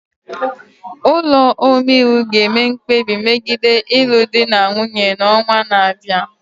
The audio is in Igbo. Ụlọ omeiwu ga-eme mkpebi megide ịlụ di na nwunye n'ọnwa na-abịa.